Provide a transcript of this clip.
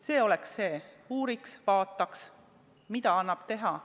See aga oleks hädavajalik: uuriks, vaataks, mida annab teha.